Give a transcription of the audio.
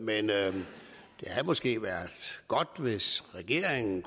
måske været godt hvis regeringen